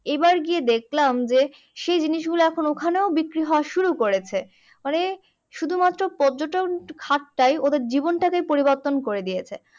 এবারে গিয়ে দেখালাম যে সেই জিনিস গুলো এখন ওখানেও বিক্রি হওয়া শুরু করেছে। মানে শুধু মাত্র পর্যটন হাতটাই ওদের জীবন টাকেই পরিবর্তন করে দিয়েছে।